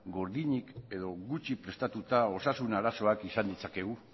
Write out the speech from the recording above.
gordinik edo gutxi prestatuta osasun arazoak izan ditzakegu